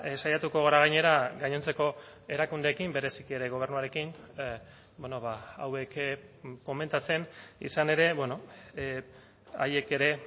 saiatuko gara gainera gainontzeko erakundeekin bereziki ere gobernuarekin hauek komentatzen izan ere haiek ere